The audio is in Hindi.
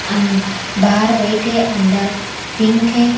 अंद बाहर बैठे अंदर पिंक है।